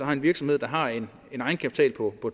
har en virksomhed der har en egenkapital på